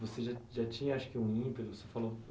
Você já já tinha um